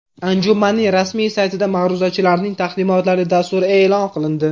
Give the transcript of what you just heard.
Anjumanning rasmiy saytida ma’ruzachilarning taqdimotlari dasturi e’lon qilindi.